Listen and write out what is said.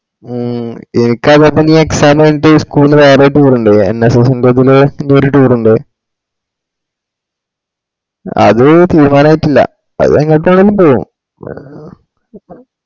മ്മ് ഉം ജയിച്ചാ എനി ചെലപ്പോ exam എയ്തീറ്റ് school ന് വേറെ ഒര് tour ഇണ്ട്‌ NSS ന്റഡന്ന് എന്തൊരു tour ഇണ്ട് അത്‌ തീരുമാനയ്റ്റില്ലാ അത് ഏങ്ങാട്ടേലും പോവും. വേര മ്മ് ഉം